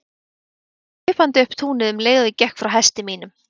Komu þeir hlaupandi upp túnið um leið og ég gekk frá hesti mínum.